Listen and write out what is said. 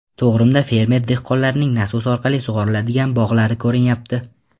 To‘g‘rimda fermer-dehqonlarning nasos orqali sug‘oriladigan bog‘lari ko‘rinyapti.